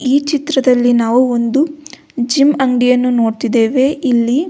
ಈ ಚಿತ್ರದಲ್ಲಿ ನಾವು ಒಂದು ಜಿಮ್ಮ್ ಅಂಗಡಿಯನ್ನು ನೋಡ್ತಿದೇವೆ ಇಲ್ಲಿ.